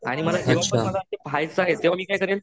आणि मला पाहायचंय तेव्हा मी काय करेल.